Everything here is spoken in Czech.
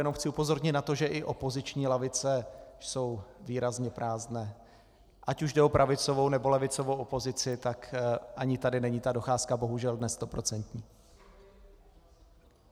Jenom chci upozornit na to, že i opoziční lavice jsou výrazně prázdné, ať už jde o pravicovou, nebo levicovou opozici, tak ani tady není ta docházka bohužel dnes stoprocentní.